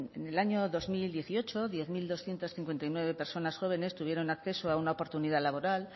en el año dos mil dieciocho diez mil doscientos cincuenta y nueve personas jóvenes tuvieron acceso a una oportunidad laboral